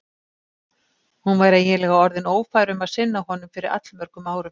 Hún var eiginlega orðin ófær um að sinna honum fyrir allmörgum árum.